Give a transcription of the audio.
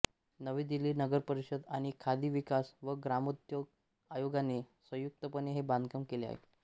नवी दिल्ली नगरपरिषद आणि खादी विकास व ग्रामोद्योग आयोगाने संयुक्तपणे हे बांधकाम केले आहे